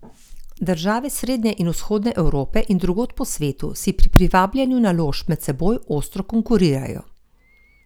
Države srednje in vzhodne Evrope in drugod po svetu si pri privabljanju naložb med seboj ostro konkurirajo.